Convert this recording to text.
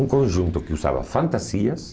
Um conjunto que usava fantasias,